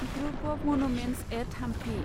group of monuments at Hampi